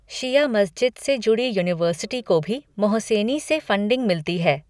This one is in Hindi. शिया मस्जिद से जुड़ी यूनिवर्सिटी को भी मोहसेनी से फंडिंग मिलती है।